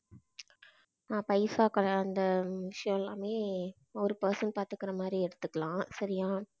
நான் பைசாக்கள் அந்த விஷயம் எல்லாமே ஒரு person பாத்துக்குற மாதிரி எடுத்துக்கலாம், சரியா?